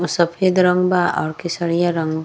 उ सफेद रंग बा और केसरिउया रंग बा।